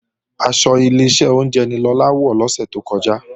Aṣọ Ileṣẹ́ oúnjẹ ni Lọlá wọ̀ lọ́sẹ̀ tó kọjá